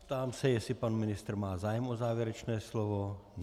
Ptám se, jestli pan ministr má zájem o závěrečné slovo.